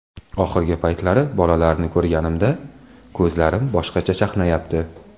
Oxirgi paytlari bolalarni ko‘rganimda, ko‘zlarim boshqacha chaqnayapti.